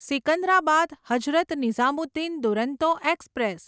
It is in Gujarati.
સિકંદરાબાદ હઝરત નિઝામુદ્દીન દુરંતો એક્સપ્રેસ